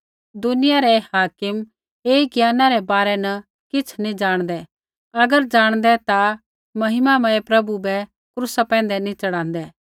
दुनिया रै हाकिमा ऐई ज्ञाना रै बारै न किछ़ नैंई जाणदै अगर जाणदै ता महिमामय प्रभु बै क्रूसा पैंधै नैंई चढ़ाँदै